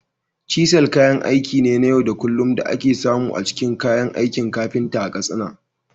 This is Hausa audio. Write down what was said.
Cisal kayan aiki ne na yau da kullun da ake samu a cikin kayan aikin kafinta a Katsina.